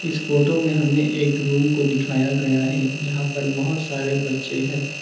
इस फोटो में हमें एक रूम को दिखाया गया है यहां पर बहुत सारे बच्चे हैं।